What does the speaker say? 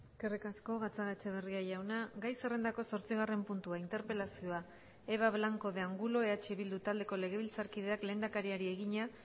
eskerrik asko gatzagaetxebarria jauna gai zerrendako zortzigarren puntua interpelazioa eva blanco de angulo eh bildu taldeko legebiltzarkideak lehendakariari egina